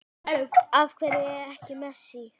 Af hverju ekki Messi?